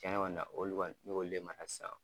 Cɛnni kɔni na olu kɔni n bɛ k'olu le mara sisan.